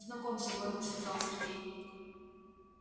знакомься гордо сказал сергей